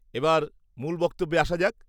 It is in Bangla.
-এবার মূল বক্তব্যে আসা যাক।